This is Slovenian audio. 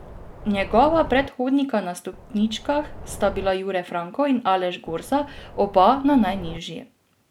Njegova predhodnika na stopničkah sta bila Jure Franko in Aleš Gorza, oba na najnižji.